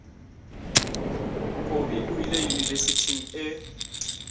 kobi o ile yunibesithing e